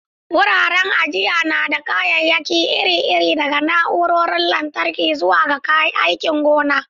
Wuraren ajiya na da kayayyaki iri-iri, daga na'urorin lantarki zuwa kayan aikin gona.